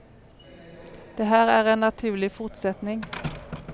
Det här är en naturlig fortsättning.